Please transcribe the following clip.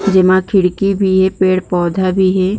जेमा खिड़की भी हे पेड़-पौधा भी हे।